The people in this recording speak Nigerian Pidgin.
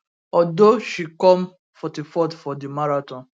although she come come 44th for di marathon